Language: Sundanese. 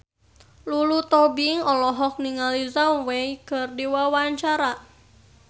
Lulu Tobing olohok ningali Zhao Wei keur diwawancara